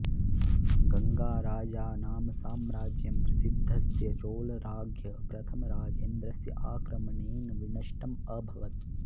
गङ्गाराजानाम् साम्राज्यं प्रसिध्दस्य चोळराज्ञ प्रथमराजेन्द्रस्य आक्रमणेन विनष्टम् अभवत्